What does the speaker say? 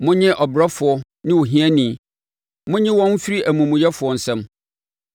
Monnye ɔbrɛfoɔ ne ohiani; monnye wɔn mfiri amumuyɛfoɔ nsam.